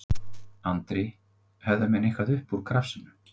Andri: Höfðu menn eitthvað upp úr krafsinu?